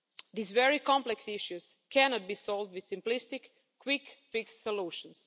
These very complex issues cannot be solved with simplistic, quick fix solutions.